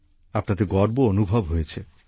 আপনাদের গর্ব অনুভব হয়েছে